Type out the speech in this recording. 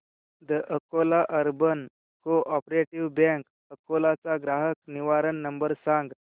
the Akola urban cooperative bank Akola चा ग्राहक निवारण नंबर सांग